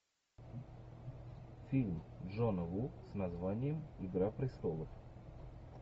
фильм джона ву с названием игра престолов